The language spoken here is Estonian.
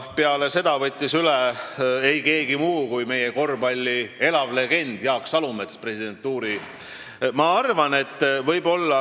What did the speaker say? Peale seda võttis presidentuuri üle ei keegi muu kui meie korvpalli elav legend Jaak Salumets.